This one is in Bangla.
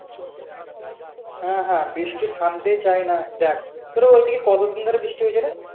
হ্যাঁ হ্যাঁ বৃষ্টি থামতেই চাই না দেখ তোরা ওইদিকে কতদিন ধরে বৃষ্টি হচ্ছে রে?